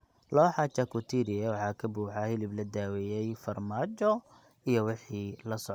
Looxa charcuterie waxaa ka buuxa hilib la daweeyay, farmaajo, iyo wixii la socda.